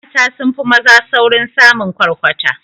Mata sunfi maza saurin samin kwarkwata